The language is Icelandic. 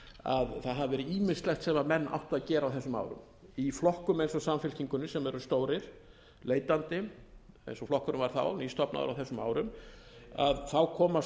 að það hafi verið ýmislegt sem menn áttu að gera á þessum árum í flokkum eins og samfylkingunni sem eru stórir leitandi eins og flokkurinn var þá nýstofnaður á þessum árum þá koma